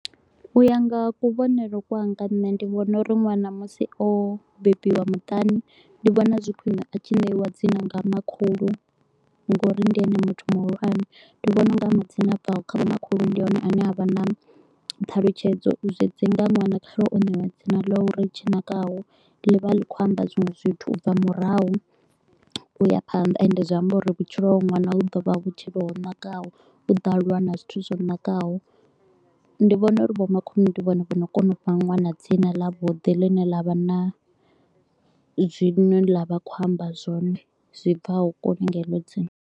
U ya nga kuvhonele kwanga nṋe ndi vhona uri ṅwana musi o bebiwa muṱani, ndi vhona zwi khwine a tshi ṋeiwa dzina nga makhulu nga uri ndi ene muthu muhulwane. Ndi vhona u nga madzina a bvaho kha vhomakhulu ndi one ane avha na thalutshedzo, zwi dzi nga ṅwana kha re o neiwa dzina ḽa uri Tshinakaho, ḽi vha ḽi kho u amba zwinwe zwithu u bva murahu u ya phanḓa. Ende zwi amba uri vhutshilo ha hoyu ṅwana hu ḓo vha vhutshilo ho nakaho, u ḓo aluwa na zwithu zwo nakaho. Ndi vhona uri vho makhulu ndi vhone vho no kona u fha ṅwana dzina ḽa vhuḓi ḽine ḽa vha na zwino ḽa vha kho u amba zwone zwi bvaho kulu nga heḽo dzina.